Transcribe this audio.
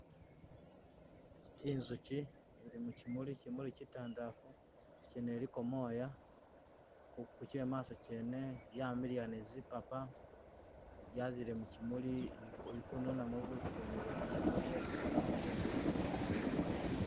Inzuchi ili muchumuli chimuli chitandalafu inzuchi yene iliko mooya kuchemaaso kyene yamiliya ni zipapa yazile muchimuli ili kununamo bufu bwene buba muchimuli bwesi ikolamo buuchi.